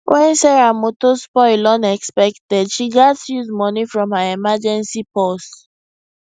when sarah motor spoil unexpected she gatz use money from her emergency purse